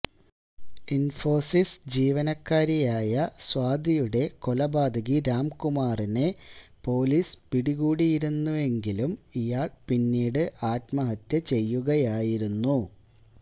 ഇൻഫോസിസ് ജീവനക്കാരിയായ സ്വാതിയുടെ കൊലപാതകി രാംകുമാറിനെ പൊലീസ് പിടികൂടിയിരുന്നെങ്കിലും ഇയാൾ പിന്നീട് ആത്മഹത്യ ചെയ്യുകയായിരുന്നു